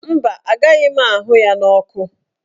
Mba, agaghị m ahụ ya n'ọkụ.